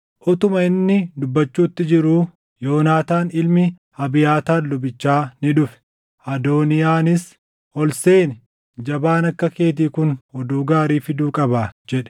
Utuma inni dubbachuutti jiruu, Yonaataan ilmi Abiyaataar lubichaa ni dhufe. Adooniyaanis, “Ol seeni. Jabaan akka keetii kun oduu gaarii fiduu qabaa” jedhe.